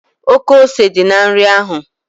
Oké ose dị na nri ahụ